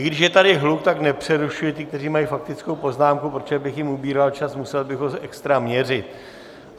I když je tady hluk, tak nepřerušuji ty, kteří mají faktickou poznámku, protože bych jim ubíral čas, musel bych ho extra měřit.